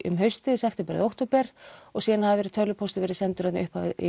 um haustið september eða október og síðan hafi tölvupóstur verið sendur í upphafi